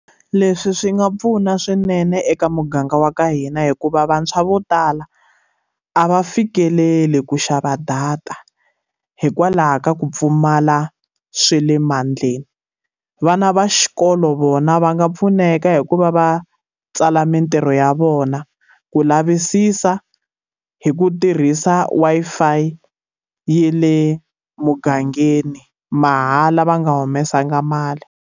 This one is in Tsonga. Leswi swi nga pfuna swinene eka muganga wa ka hina hikuva vantshwa vo tala, a va fikeleli ku xava data hikwalaho ka ku pfumala swa le mandleni. Vana va xikolo vona va nga pfuneka hi ku va va tsala mitirho ya vona, ku lavisisa hi ku tirhisa Wi-Fi ya le mugangeni, mahala va nga humesanga mali.